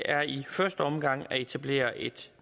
er i første omgang at etablere et